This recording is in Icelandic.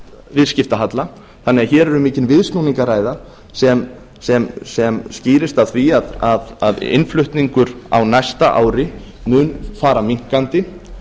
viðskiptahalla þannig að hér er um mikinn viðsnúning að ræða sem skýrist af því að innflutningur á næsta ári mun fara minnkandi